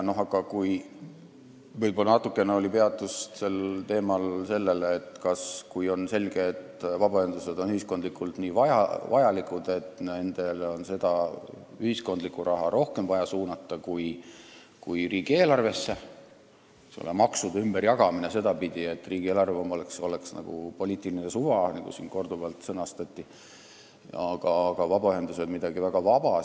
Natuke peatuti sel teemal, et kui on selge, et vabaühendused on ühiskondlikult nii vajalikud, siis on vaja nendele suunata ka ühiskondlikku raha rohkem kui riigieelarvesse ehk maksude ümberjagamine sedapidi, et riigieelarve on poliitiline suva, nagu siin korduvalt sõnastati, ja vabaühendused midagi väga vaba.